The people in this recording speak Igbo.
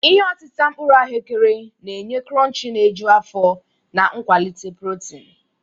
Ihe otita mkpuru ahụekere na-enye kuronchi na-eju afọ na nkwalite protin.